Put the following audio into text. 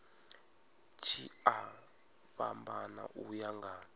tshi a fhambana uya nga